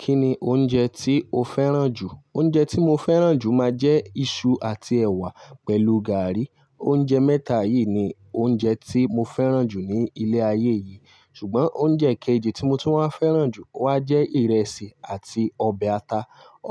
Kí ni oúnjẹ tí o fẹ́ràn jù? Oúnjẹ tí mo fẹ́ràn jù máa jẹ́ iṣu àti ẹ̀wà pẹ̀lú gàrí. Oúnjẹ mẹ́ta yìí ni oúnjẹ tí mo fẹ́ràn jù ní ilẹ̀ ayé yìí. Ṣùgbọ́n oúnjẹ kejì tí mo tún wá fẹ́ràn jù wá jẹ́ ìrẹsì àti ọbẹ̀ ata.